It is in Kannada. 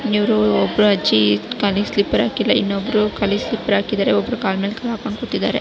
ಇವರು ಒಬ್ಬರು ಅಜ್ಜಿ ಕಾಲಿಗೆ ಸ್ಲಿಪ್ಪರ್ ಹಾಕಿಲ್ಲ ಇಬ್ಬೊಬ್ಬರು ಕಾಲಿಗೆ ಸ್ಲಿಪ್ಪರ್ ಹಾಕಿದರೆ ಒಬ್ಬರು ಕಾಲುಮೆಲ ಕಾಲು ಹಾಕ್ಕೊಂಡು ಕೂತಿದರೆ.